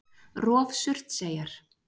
Rof Surtseyjar.